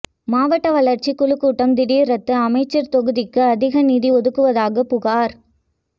மாவட்ட வளா்ச்சிக் குழு கூட்டம் திடீா் ரத்து அமைச்சா் தொகுதிக்கு அதிக நிதி ஒதுக்குவதாகப் புகாா்